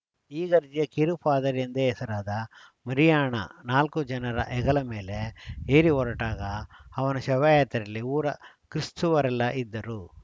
ಇಗರ್ಜಿಯ ಕಿರು ಪಾದರಿ ಎಂದೇ ಹೆಸರಾದ ಮರಿಯಾಣ ನಾಲ್ಕು ಜನರ ಹೆಗಲ ಮೇಲೆ ಏರಿ ಹೊರಟಾಗ ಅವನ ಶವ ಯಾತ್ರೆಯಲ್ಲಿ ಊರ ಕ್ರೀಸ್ತುವರೆಲ್ಲ ಇದ್ದರು